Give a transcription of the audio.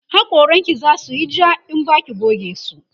hakoran ki zasuyi ja in Baki goge su